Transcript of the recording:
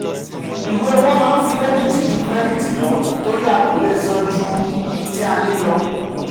iwe owo maa nfi debiti ju kirediti lọ tori a ko le san ju ti a a ni lọ.